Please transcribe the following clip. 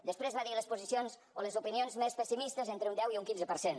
després va dir les posicions o les opinions més pessimistes entre un deu i un quinze per cent